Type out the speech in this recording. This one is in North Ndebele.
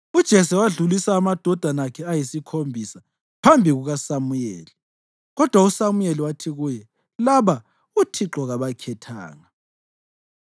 UJese wadlulisa amadodana akhe ayisikhombisa phambi kukaSamuyeli, kodwa uSamuyeli wathi kuye, “Laba uThixo kabakhethanga.”